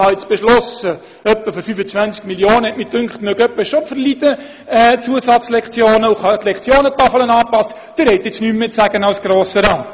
«Ich war der Meinung, Zusatzlektionen für etwa 25 Mio. Franken würden schon drinliegen, daher habe ich beschlossen die Lektionentafel entsprechend anzupassen, und Sie als Grosser Rat können nun nichts mehr dazu sagen.»